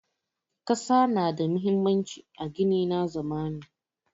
Ƙasa na da muhimmanci a gini na zamani.